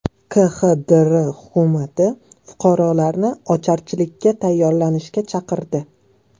KXDR hukumati fuqarolarni ocharchilikka tayyorlanishga chaqirdi .